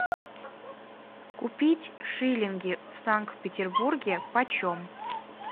купить шиллинги в санкт петербурге почем